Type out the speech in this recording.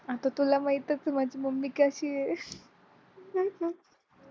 आता तुला माहीतच आहे माझी मम्मी कशी आहे